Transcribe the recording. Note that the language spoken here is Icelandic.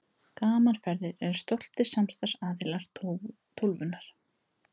Gaman Ferðir eru stoltir samstarfsaðilar Tólfunnar.